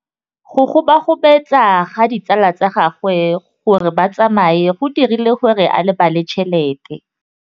Go gobagobetsa ga ditsala tsa gagwe, gore ba tsamaye go dirile gore a lebale tšhelete.